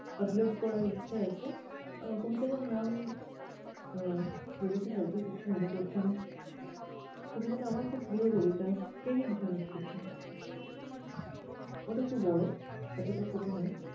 upload করার ইচ্ছে আছে। আহ কবিতাটার নাম আহ দেখেছিস আজকে কিছু মনে পড়ছে না। কবিতাটা আমার খুব প্রিয় কবিতা প্রেমিক জনের চিঠি। ওটা একটু বড়ো, এতটা ছোট নয়।